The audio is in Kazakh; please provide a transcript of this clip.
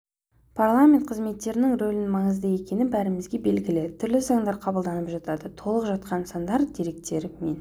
парламент қызметінің рөлі маңызды екені бәрімізге белгілі түрлі заңдар қабылданып жатады толып жатқан сандар деректер мен